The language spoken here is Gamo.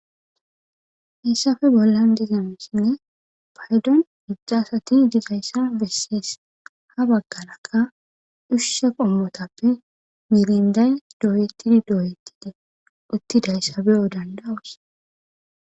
Haysappe bollan diza misilen paydon heedza gidida asata bessees. Ha baggara qasse ushsha qommotappe miirinday dooyetidi dooyetidi uttidaysa beyo danda'oos.